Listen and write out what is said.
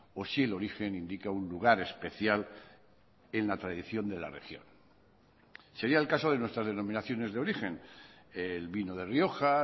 o si el origen indica un lugar especial en la tradición de la región sería el caso de nuestras denominaciones de origen el vino de rioja